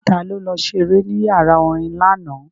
Ta ló lọ ṣeré ní yàrá orin lánàá?